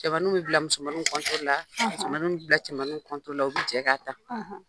Cɛmaninw bɛ bila musomaninw la; Musomaninw bɛ bila cɛmaninw la, u bɛ jɛ ka tan.